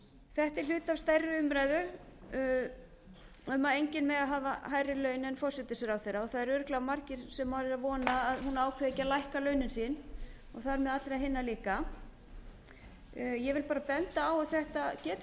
þetta er hlutfall stærri umræðu um að enginn megi hafa hærri laun en forsætisráðherra og það eru örugglega margir sem vona að hún ákveði ekki að lækka launin sín og þar með allra hinna líka ég vil benda á að þetta geti verið hættulegt og það